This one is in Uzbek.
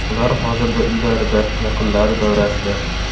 Ular hozirda uylarida, yaqinlari davrasida.